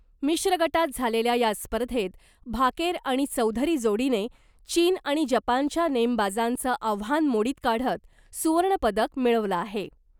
मिश्र गटात झालेल्या या स्पर्धेत भाकेर आणि चौधरी जोडीने , चीन आणि जपानच्या नेमबाजांचं आव्हान मोडीत काढत , सुवर्णपदक मिळवलं आहे .